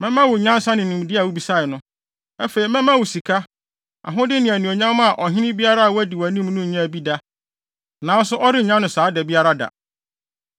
mɛma wo nyansa ne nimdeɛ a wubisae no. Afei, mɛma wo sika, ahode ne anuonyam a ɔhene biara a wadi wʼanim no nnyaa bi da, nanso ɔrennya no saa da biara da.”